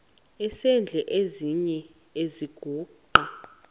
esidl eziny iziguqa